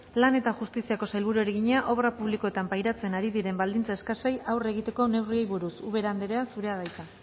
lan eta justiziako sailburuari egina obra publikoetan pairatzen ari diren baldintza eskasei aurre egiteko neurriei buruz ubera andrea zurea da hitza